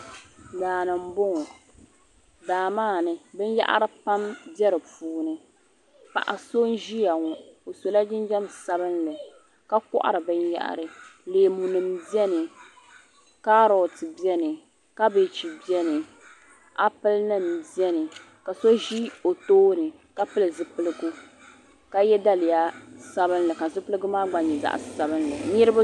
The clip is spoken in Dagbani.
Daani n bɔŋɔ daa maa ni bin yahiri pam n be dini, paɣaso n ʒiya ɔ , o sola jinjam sabinli, ka kohiri bin yahiri, leemunim beni kaaroti nim beni ,kabech beni, apel nim beni, kaso ʒi ɔtooni ka pili zipiligu ka ye daliya sabinli ka zipiligu gba nyɛ zaɣi sabinli niribi be nimaa ni